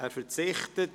– Er verzichtet.